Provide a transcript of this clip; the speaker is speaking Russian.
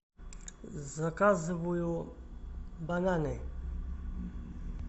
заказываю бананы